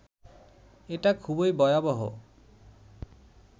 এটা খুবই ভয়াবহ